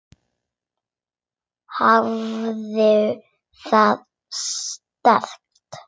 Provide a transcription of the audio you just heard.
Hafðu það sterkt.